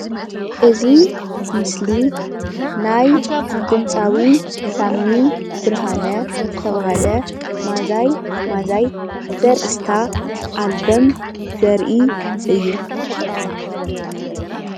እዚ ምስሊ ናይ ድምፃዊ ሳሚ ብርሃነ ዝተባሃለ ማዛይ ማዛይ ዘርእስታ ኣልበን ዘርኢ እዩ፡፡